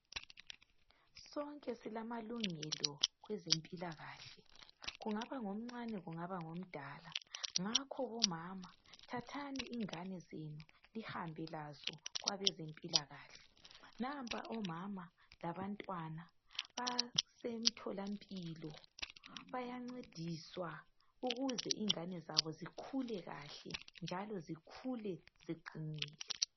Sonke silamalungelo kwezempilakahle .Kungaba ngomncane kungaba ngomdala . Ngakho bomama thanthani ingane zenu lihambe lazo kwabezempilakahle .Nampa omama labantwana basemtholampilo bayancediswa ukuze ingane zabo zikhule kahle .Njalo zikhule ziqinile. .